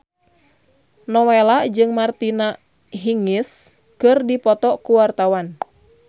Nowela jeung Martina Hingis keur dipoto ku wartawan